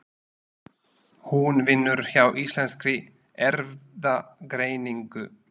Hún vinnur hjá Íslenskri Erfðagreiningu.